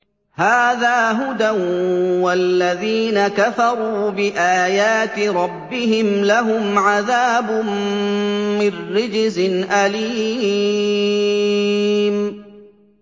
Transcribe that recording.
هَٰذَا هُدًى ۖ وَالَّذِينَ كَفَرُوا بِآيَاتِ رَبِّهِمْ لَهُمْ عَذَابٌ مِّن رِّجْزٍ أَلِيمٌ